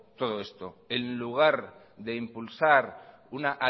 todo esto en lugar de impulsar una